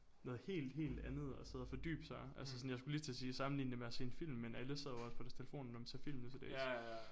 Noget helt helt andet at sidde og fordybe sig altså sådan jeg skulle lige til at sige sammenligne det med at se en film men alle sidder jo også på deres telefoner når man ser film nutildags